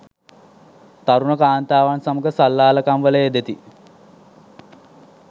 තරුණ කාන්තාවන් සමග සල්ලාලකම් වල යෙදෙති.